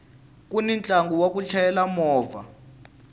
kuni ntlangu wa ku chayela movha